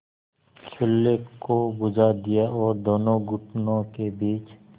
चूल्हे को बुझा दिया और दोनों घुटनों के बीच